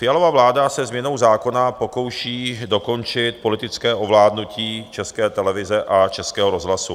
Fialova vláda se změnou zákona pokouší dokončit politické ovládnutí České televize a Českého rozhlasu.